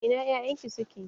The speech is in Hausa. Ina 'ya'yan ki suke?